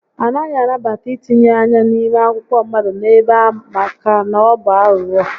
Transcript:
A naghị anabata ítínye ányá n'ime akwụkwọ mmadụ n'ebe a maka na ọ bụ aghụghọ